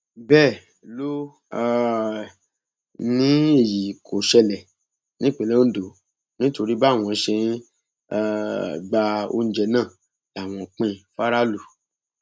bẹẹ ló um ní èyí kò ṣẹlẹ nípínlẹ ondo nítorí báwọn ṣe ń um gba oúnjẹ náà làwọn ń pín in faraàlú